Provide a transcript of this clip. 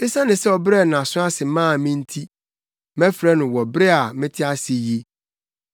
Esiane sɛ ɔbrɛɛ nʼaso ase maa me nti, mɛfrɛ no wɔ bere a mete ase yi.